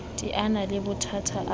teana le bothata ha a